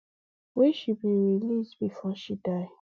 wey she bin wan release bifor she die